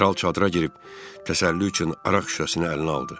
Kral çadıra girib təsəlli üçün araq şüşəsini əlinə aldı.